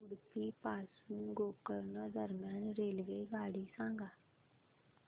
उडुपी पासून गोकर्ण दरम्यान रेल्वेगाडी सांगा